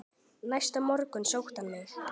Næsta morgun sótti hann mig.